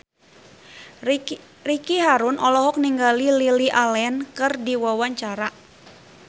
Ricky Harun olohok ningali Lily Allen keur diwawancara